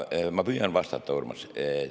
Ma püüan vastata, Urmas.